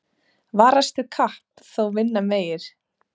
Varastu kapp þó vinna megir.